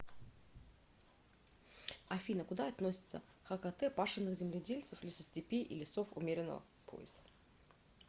афина куда относятся хкт пашенных земледельцев лесостепей и лесов умеренного пояса